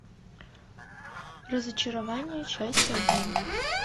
разочарование часть один